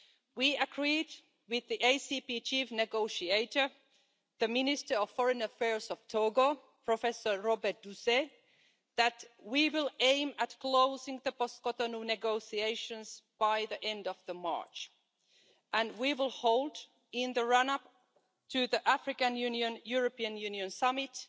We agreed with the ACP chief negotiator, the Minister of Foreign Affairs of Togo, Professor Robert Dussey, that we will aim at closing the post Cotonou negotiations by the end of March, and we will hold in the run up to the African Union European Union summit